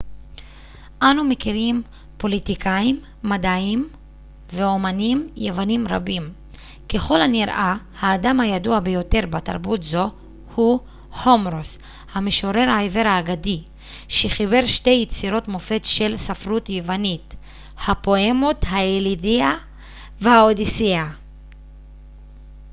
אנו מכירים פוליטיקאים מדענים ואמנים יוונים רבים ככל הנראה האדם הידוע ביותר בתרבות זו הוא הומרוס המשורר העיוור האגדי שחיבר שתי יצירות מופת של ספרות יוונית הפואמות האיליאדה והאודיסיאה